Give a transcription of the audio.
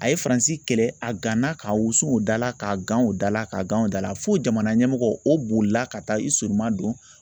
A ye Faransi kɛlɛ a gana k'a wusu o dala, ka gan o da la, k'a gan o da la, fo jamana ɲɛmɔgɔ o bolila ka taa i surunma don.